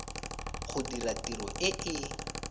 go dira tiro e e